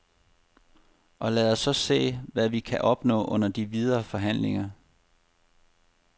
Og lad os så se, hvad vi kan opnå under de videre forhandlinger.